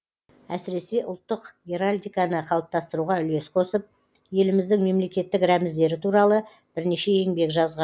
әсіресе ұлттық геральдиканы қалыптастыруға үлес қосып еліміздің мемлекеттік рәміздері туралы бірнеше еңбек жазған